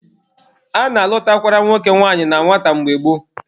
A na-alụtakwara nwoke nwanyị na nwata mgbe gboo